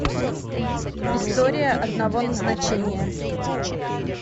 история одного назначения